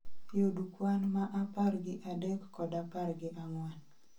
Yud kwan ma apar gi adek kod apar gi ang'wen